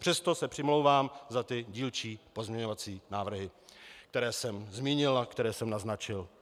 Přesto se přimlouvám za ty dílčí pozměňovací návrhy, které jsem zmínil a které jsem naznačil.